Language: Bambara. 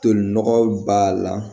Tolinɔgɔw b'a la